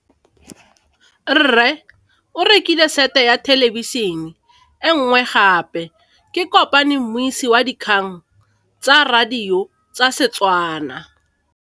Rre o rekile sete ya thêlêbišênê e nngwe gape. Ke kopane mmuisi w dikgang tsa radio tsa Setswana.